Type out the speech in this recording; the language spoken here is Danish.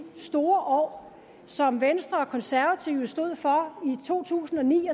store år som venstre og konservative stod for i to tusind og ni